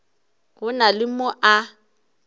go na le mo a